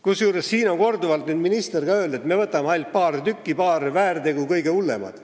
Ka minister on korduvalt öelnud, et võetakse ainult paar väärtegu, need kõige hullemad.